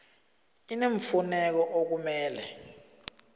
i neemfuneko okumele